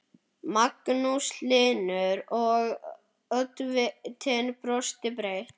Magnús Hlynur: Og, oddvitinn brosir breytt?